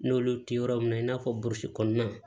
N'olu tɛ yɔrɔ min na i n'a fɔ burusi kɔnɔna